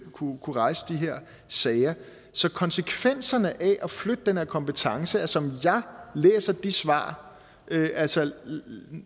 kunne rejse de her sager så konsekvenserne af at flytte den her kompetence som jeg læser det svar er altså